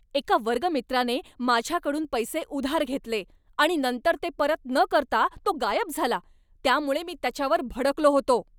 एका वर्गमित्राने माझ्याकडून पैसे उधार घेतले आणि नंतर ते परत न करता तो गायब झाला, त्यामुळे मी त्याच्यावर भडकलो होतो.